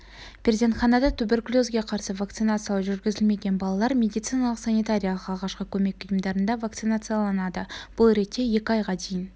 перзентханада туберкулезге қарсы вакцинациялау жүргізілмеген балалар медициналық-санитариялық алғашқы көмек ұйымдарында вакцинацияланады бұл ретте екі айға дейін